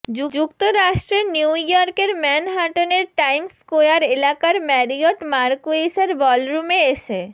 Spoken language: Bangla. যুক্তরাষ্ট্রের নিউ ইয়র্কের ম্যানহাটনের টাইমস স্কোয়ার এলাকার ম্যারিয়ট মারকুইসের বলরুমে এসে